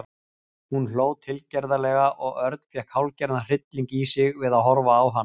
Hún hló tilgerðarlega og Örn fékk hálfgerðan hrylling í sig við að horfa á hana.